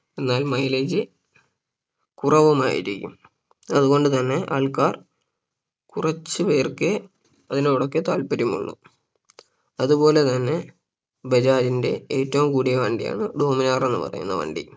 എന്നാൽ mileage കുറവുമായിരിക്കും അതുകൊണ്ട് തന്നെ ആൾക്കാർ കുറച്ചു പേർക്കേ അതിനോട് ഒക്കെ താൽപര്യം ഉള്ളൂ അതുപോലെ തന്നെ ബജാജിന്റെ ഏറ്റവും കൂടിയ വണ്ടിയാണ് Dominar എന്ന് പറയുന്ന വണ്ടി